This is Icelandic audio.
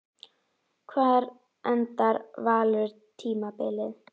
Hvar endar Valur tímabilið?